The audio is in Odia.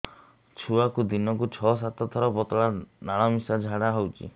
ଛୁଆକୁ ଦିନକୁ ଛଅ ସାତ ଥର ପତଳା ନାଳ ମିଶା ଝାଡ଼ା ହଉଚି